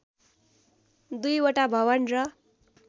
दुईवटा भवन र